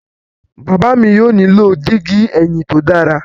Baba mi yóò nilo digi ẹhin to dara